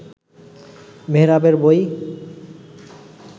মেহরাবের বই